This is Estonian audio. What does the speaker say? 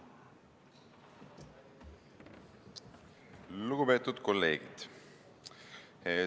Lugupeetud kolleegid!